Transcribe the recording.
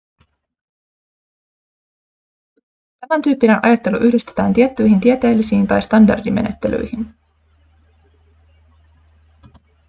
tämän tyyppinen ajattelu yhdistetään tiettyihin tieteellisiin tai standardimenettelyihin